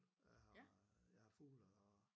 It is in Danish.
Og jeg har jeg har fugle og